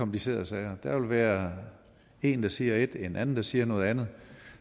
komplicerede sager der vil være en der siger et og en anden der siger noget andet